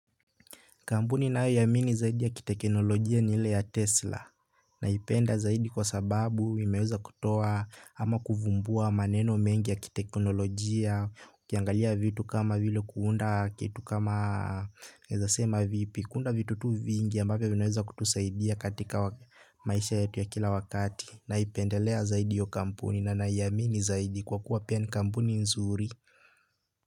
Kampuni nayoiamini zaidi ya kiteknolojia ni ile ya Tesla naipenda zaidi kwa sababu imeweza kutoa ama kuvumbua maneno mengi ya kiteknolojia ukiangalia vitu kama vile kuunda kitu kama naezasema vipi kuunda vitu tu vingi ambavyo vinaweza kutusaidia katika maisha yetu ya kila wakati naipendelea zaidi hiyo kampuni na naiamini zaidi kwa kuwa pia ni kampuni nzuri.